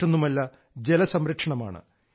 അത് മറ്റൊന്നുമല്ല ജലസംരക്ഷണമാണ്